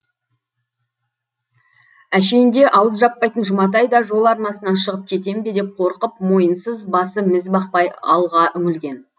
әшиінде ауыз жаппайтын жұматай да жол арнасынан шығып кетем бе деп қорқып мойынсыз басы міз бақпай алға үңілген